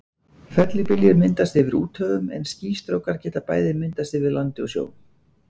Fellibyljir myndast yfir úthöfum en skýstrókar geta bæði myndast yfir landi og sjó.